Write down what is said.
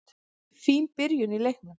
Fín byrjun á leiknum.